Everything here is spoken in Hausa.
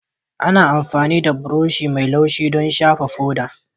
Ana amfani da buroshi mai laushi don shafa foda